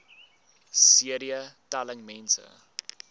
cd telling mense